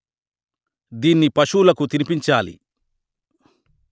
దీన్ని పశువులకు తినిపించాలి